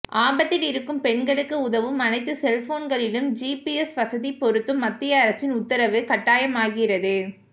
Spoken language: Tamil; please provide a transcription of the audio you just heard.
ஆபத்தில் இருக்கும் பெண்களுக்கு உதவும் அனைத்து செல்போன்களிலும் ஜீபிஎஸ் வசதி பொருத்தும் மத்திய அரசின் உத்தரவு கட்டாயமாகிறது